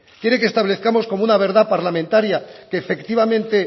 quiere que establezcamos como una verdad parlamentaria que efectivamente